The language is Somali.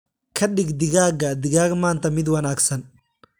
Ka dhig digaagga digaag maanta mid wanaagsan.